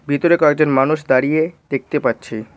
ভিতরে কয়েকজন মানুষ দাঁড়িয়ে দেখতে পাচ্ছি।